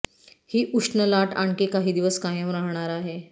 ही उष्ण लाट आणखी काही दिवस कायम राहणार आहे